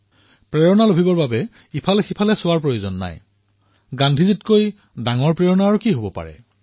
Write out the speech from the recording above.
প্ৰেৰণাৰ বাবে আনলৈ চোৱাৰ পৰিৱৰ্তে গান্ধীতকৈ ডাঙৰ প্ৰেৰণা আন কি হব পাৰে